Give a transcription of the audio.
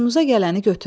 Xoşunuza gələni götürün.